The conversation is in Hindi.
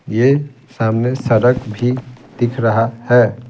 ये सामने सड़क भी दिख रहा है।